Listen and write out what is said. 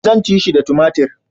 Zan ci shi da tumatir